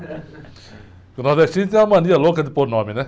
Porque o nordestino tem uma mania louca de pôr nome, né?